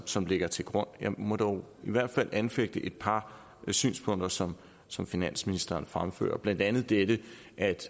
som ligger til grund jeg må dog i hvert fald anfægte et par synspunkter som som finansministeren fremfører blandt andet det at